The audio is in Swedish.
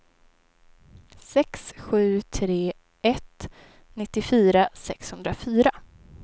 sex sju tre ett nittiofyra sexhundrafyra